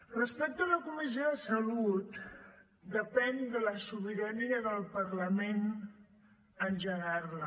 respecte a la comissió de salut depèn de la sobirania del parlament engegar la